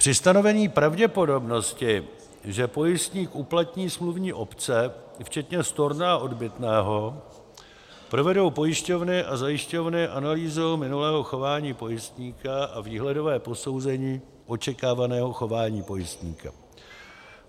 Při stanovení pravděpodobnosti, že pojistník uplatní smluvní opce, včetně storna a odbytného, provedou pojišťovny a zajišťovny analýzu minulého chování pojistníka a výhledové posouzení očekávaného chování pojistníka.